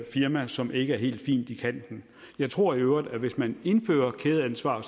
firma som ikke er helt fint i kanten jeg tror i øvrigt at hvis man indfører kædeansvar